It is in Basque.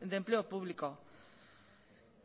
de empleo público